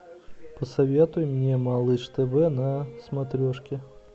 посоветуй мне малыш тв на смотрешке